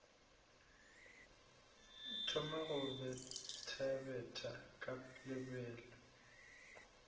thoma go bethabetha ka lebelo